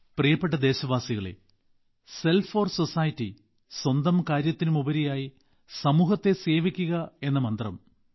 പ്രിയ ദേശവാസികളേ self for society സ്വന്തം കാര്യത്തിനുപരിയായി സമൂഹത്തെ സേവിക്കുക എന്ന മന്ത്രം നമ്മുടെ മൂല്യങ്ങളുടെ ഭാഗമാണ്